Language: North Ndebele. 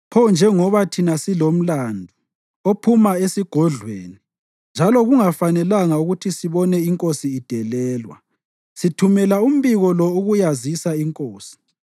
Pho njengoba thina silomlandu ophuma esigodlweni njalo kungafanelanga ukuthi sibone inkosi idelelwa, sithumela umbiko lo ukuyazisa inkosi,